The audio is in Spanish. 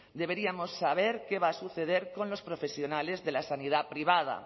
deberíamos saber qué va a suceder con los profesionales de la sanidad privada